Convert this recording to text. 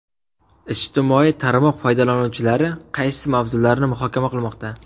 Ijtimoiy tarmoq foydalanuvchilari qaysi mavzularni muhokama qilmoqda?.